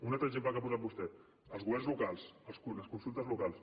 un altre exemple que ha posat vostè els governs locals les consultes locals